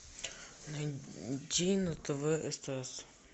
найди на тв стс